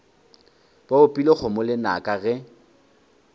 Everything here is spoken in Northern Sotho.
ba opile kgomo lenaka ge